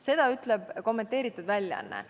Seda ütleb kommenteeritud väljaanne.